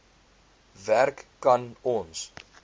werk kan ons